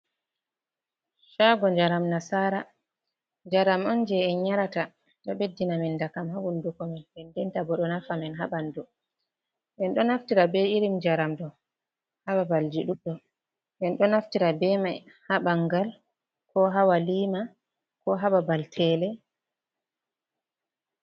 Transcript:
Shago jaram nasara, jaram on je en nyarata ɗo ɓeddina men dakam ha hunduko men den denta bo ɗo nafa men ha ɓanɗu, en ɗo naftira be irin jaram ɗo ha babal ji ɗuɗɗum, en ɗo naftira be mai ha ɓangal, ko ha waliima, ko ha babal tele.